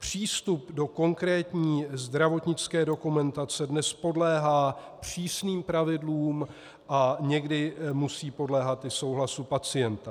Přístup do konkrétní zdravotnické dokumentace dnes podléhá přísným pravidlům a někdy musí podléhat i souhlasu pacienta.